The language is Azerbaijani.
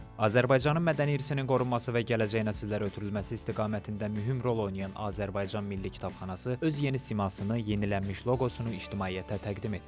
Azərbaycanın mədəni irsinin qorunması və gələcək nəsillərə ötürülməsi istiqamətində mühüm rol oynayan Azərbaycan Milli Kitabxanası öz yeni simasını, yenilənmiş loqosunu ictimaiyyətə təqdim etdi.